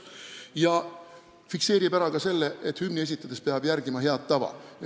Samuti fikseerib eelnõu ära selle, et hümni esitades peab järgima head tava.